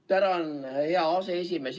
Tänan, hea aseesimees!